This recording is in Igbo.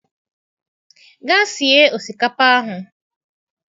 Gaa sie osikapa ahụ